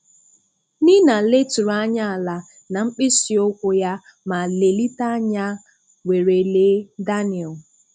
Nina leturu anya àlà na mkpịsị ụkwụ ya ma lelite anya were lee Daniel